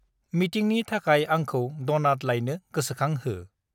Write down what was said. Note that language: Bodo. मिटिंनि थाखाय आंखौ डनाट लायनो गोसोखांह।